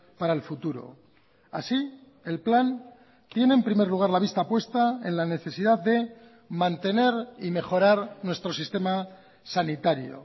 para el futuro así el plan tiene en primer lugar la vista puesta en la necesidad de mantener y mejorar nuestro sistema sanitario